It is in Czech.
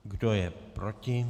Kdo je proti?